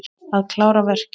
Að klára verkin.